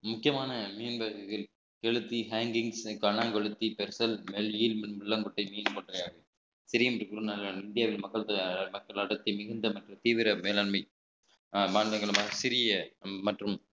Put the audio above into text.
முக்கியமான மீன் வகைகள் கெளுத்தி hangings பணம் கொளுத்தி பெருசல் நெல் ஈல் மின் முள்ளங்குட்டை மீன் முட்டையாகும் இந்தியாவில் மக்கள் மற்றும் தீவிர மேலாண்மை அஹ் சிறிய மற்றும்